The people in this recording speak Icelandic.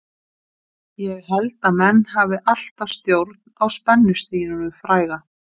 Ég held að menn hafi alltaf stjórn á spennustiginu fræga.